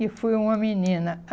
E fui uma menina.